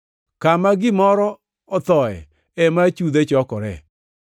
Kama gimoro othoe ema achudhe chokore.